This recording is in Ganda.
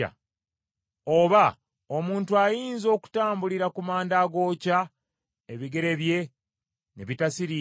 Oba omuntu ayinza okutambulira ku manda agookya, ebigere bye ne bitasiriira?